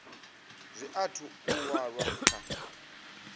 zwi athu u walwa kha